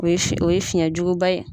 O ye fi, o ye fiɲɛjuguba ye.